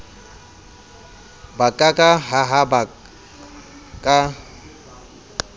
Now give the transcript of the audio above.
ba ka ka hahaba ka